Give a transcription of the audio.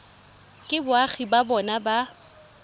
ke boagi ba bona ba